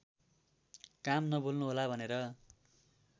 काम नभुल्नुहोला भनेर